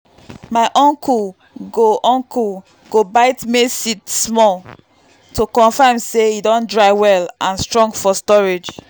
my uncle go uncle go bite maize seed small to confirm say e don dry well and strong for storage.